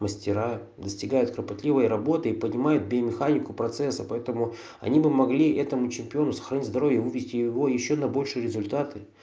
мастера достигают кропотливой работы и поднимает биомеханику процесса поэтому они бы могли этому чемпиону сохранить здоровье вывести его ещё на большие результаты